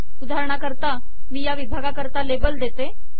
उदाहार्णकरता मी ह्या विभागा करता लेबल देते